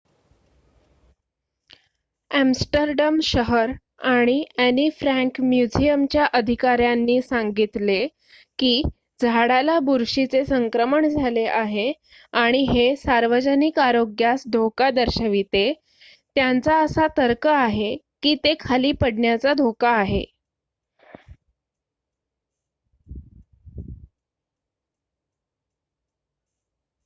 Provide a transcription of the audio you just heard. Amsterdam शहर आणि Anne Frank म्युझियमच्या अधिकाऱ्यांनी सांगितले की झाडाला बुरशीचे संक्रमण झाले आहे आणि हे सार्वजनिक आरोग्यास धोका दर्शविते त्यांचा असा तर्क आहे की ते खाली पडण्याचा धोका आहे